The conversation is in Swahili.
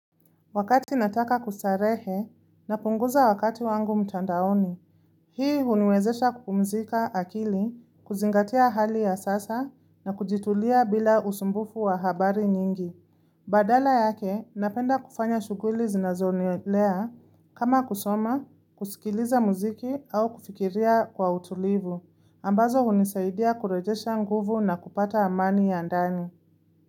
Wakati nataka kustarehe napunguza wakati wangu mtandaoni. Hii huniwezesha kupumzika akili, kuzingatia hali ya sasa na kujitulia bila usumbufu wa habari nyingi. Badala yake napenda kufanya shughuli zinazonielea kama kusoma, kusikiliza muziki au kufikiria kwa utulivu. Ambazo hunisaidia kurejesha nguvu na kupata amani ya ndani.